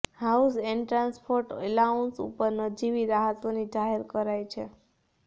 house and transport allowance ઉપર નજીવી રાહતોની જાહેરાત કરાઈ છે